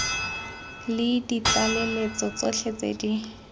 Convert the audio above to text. le ditlaleletso tsotlhe tse di